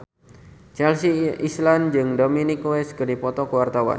Chelsea Islan jeung Dominic West keur dipoto ku wartawan